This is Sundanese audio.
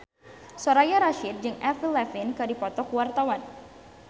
Soraya Rasyid jeung Avril Lavigne keur dipoto ku wartawan